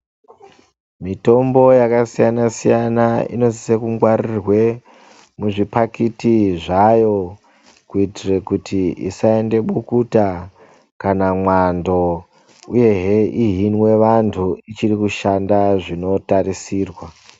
mitombo yakasiyanasiyana inosise kungwarirwe muzvipakiti zvayo kuitire kuti isaende bukuta kana mwando uyehe ihinwe vantu ichiri kushanda zvinotarisirwa.